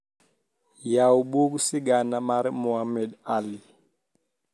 yaw bug sigana mar mohammed alli